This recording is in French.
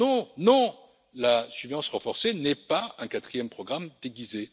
Non, non, la surveillance renforcée n'est pas un quatrième programme déguisé.